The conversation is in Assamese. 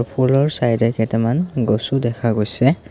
ফুলৰ চাইদে কেইটামান গছও দেখা গৈছে।